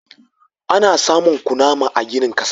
Ana samun kunama a ginin ƙasa.